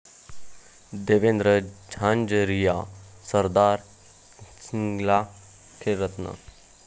देवेंद्र झांझरिया, सरदार सिंगला 'खेलरत्न'